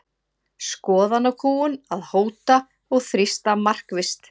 Skoðanakúgun að hóta og þrýsta markvisst